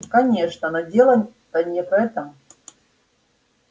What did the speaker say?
конечно но дело-то не в этом